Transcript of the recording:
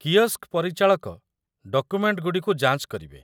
kiosk ପରିଚାଳକ ଡକୁମେଣ୍ଟଗୁଡ଼ିକୁ ଯାଞ୍ଚ କରିବେ